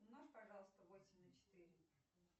умножь пожалуйста восемь на четыре